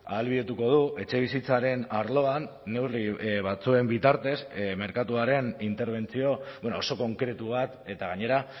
ahalbidetuko du etxebizitzaren arloan neurri batzuen bitartez merkatuaren interbentzio oso konkretu bat eta gainera